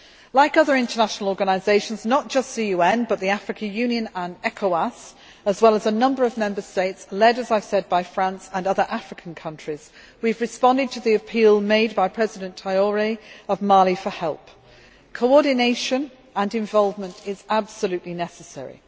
Like other international organisations not just the UN but the African Union and Ecowas as well as a number of Member States, led by France and other African countries, we have responded to the appeal made by President Traoré of Mali for help. Coordination and involvement are absolutely necessary.